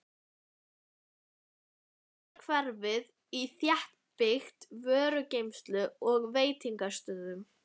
Hafnarhverfið var þéttbyggt vörugeymslum og veitingastöðum.